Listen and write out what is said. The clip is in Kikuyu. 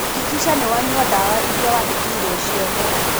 Hakikisha niwanyua dawa iria wandĩkĩirwo ciothe.